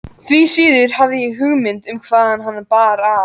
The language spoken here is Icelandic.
Því síður hafði ég hugmynd um hvaðan hana bar að.